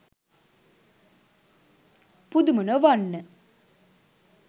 පුදුම නොවන්න